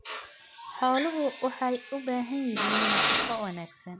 Xooluhu waxay u baahan yihiin nafaqo wanaagsan.